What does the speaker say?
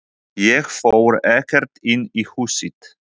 Ég fór ekkert inn í húsið.